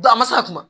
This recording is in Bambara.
Da masa kuma